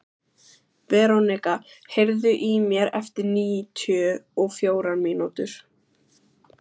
Verónika, heyrðu í mér eftir níutíu og fjórar mínútur.